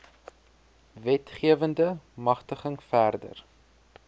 wetgewende magtiging verder